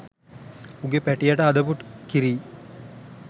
උගෙ පැටියාට හදපු කිරි